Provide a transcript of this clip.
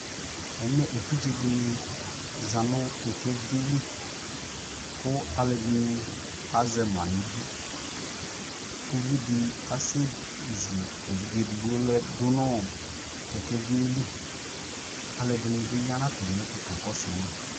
ɛmɛ ɛvidzɛ dini zanʋ kɛkɛvi li kʋ alʋɛdini azɛ ma dʋnʋ idʋ, ʋvi di asɛ zʋ ɛvidzɛ ɛdigbɔ dʋnʋ kɛkɛviɛ li, alʋɛdini bi yanʋ atami ɛtʋ kakɔsʋ ma